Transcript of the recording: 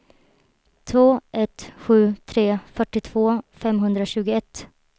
två ett sju tre fyrtiotvå femhundrasjuttioett